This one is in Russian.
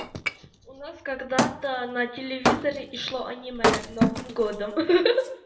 у нас когда-то на телевизоре и шло аниме новым годом ха-ха